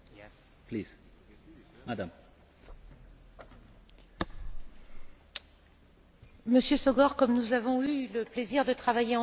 Monsieur Sógor, comme nous avons eu le plaisir de travailler ensemble dans le cadre de la mission sur la Hongrie, je connais votre attachement à la question des droits de l'homme.